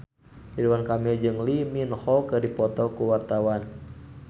Ridwan Kamil jeung Lee Min Ho keur dipoto ku wartawan